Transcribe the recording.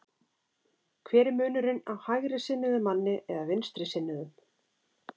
Hver er munurinn á hægrisinnuðum manni eða vinstrisinnuðum?